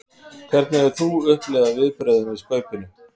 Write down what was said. Hvernig hefur þú upplifað viðbrögðin við Skaupinu?